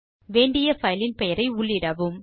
வேண்டிய பைலின் பெயரை உள்ளிடவும்